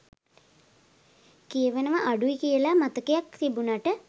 කියවනවා අඩුයි කියලා මතයක් තිබුණට